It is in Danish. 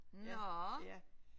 Nåh